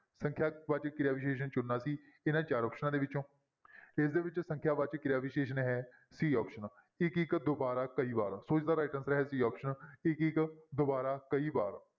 ਸੰਖਿਆ ਵਾਚਕ ਕਿਰਿਆ ਵਿਸ਼ੇਸ਼ਣ ਚੁਣਨਾ ਸੀ ਇਹਨਾਂ ਚਾਰ ਆਪਸਨਾਂ ਦੇ ਵਿੱਚੋਂ ਇਸਦੇ ਵਿੱਚ ਸੰਖਿਆ ਵਾਚਕ ਕਿਰਿਆ ਵਿਸ਼ੇਸ਼ਣ ਹੈ c option ਇੱਕ ਇੱਕ, ਦੁਬਾਰਾ, ਕਈ ਵਾਰ ਸੋ ਇਸਦਾ right answer ਹੈ c option ਇੱਕ ਇੱਕ, ਦੁਬਾਰਾ, ਕਈ ਵਾਰ।